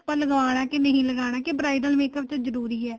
ਆਪਾਂ ਲਗਾਣਾ ਕੇ ਨਹੀਂ ਲਗਾਣਾ ਕੇ bridal makeup ਵਿੱਚ ਜਰੂਰੀ ਏ